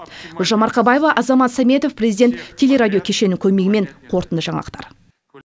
гүлжан марқабаева азамат сәметов президент телерадио кешенінің көмегімен қорытынды жаңалықтар